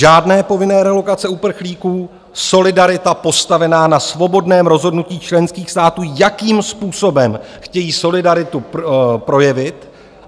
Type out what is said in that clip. Žádné povinné relokace uprchlíků, solidarita postavená na svobodném rozhodnutí členských států, jakým způsobem chtějí solidaritu projevit.